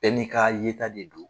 Bɛɛ n'i ka yeta de don.